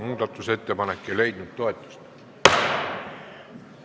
Muudatusettepanek ei leidnud toetust.